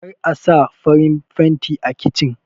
Kar Asa farin fanti a kichin